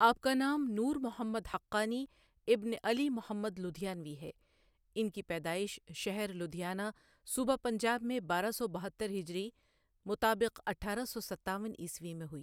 آپ کا نام نور محمد حقانی ابن علی محمد لدھیانوی ہے، ان کی پیدائش شہر لدھیانہ صوبہ پنجاب میں بارہ سو بہتر ہجری مطابق اٹھارہ سو ستاون عیسوی میں ہوئی. ۔